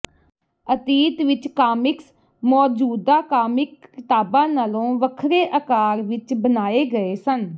ਅਤੀਤ ਵਿਚ ਕਾਮਿਕਸ ਮੌਜੂਦਾ ਕਾਮਿਕ ਕਿਤਾਬਾਂ ਨਾਲੋਂ ਵੱਖਰੇ ਆਕਾਰ ਵਿਚ ਬਣਾਏ ਗਏ ਸਨ